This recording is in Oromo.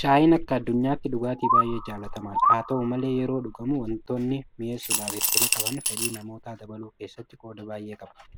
Shaayiin akka addunyaatti dhugaatii baay'ee jaalatamaadha. Haata'u malee yeroo dhugamu waantonni mi'eessuudhaaf itti naqaman fedhii namootaa dabaluu keessatti qooda baay'ee qabu.